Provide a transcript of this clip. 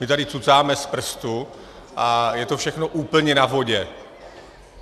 My tady cucáme z prstu a je to všechno úplně na vodě.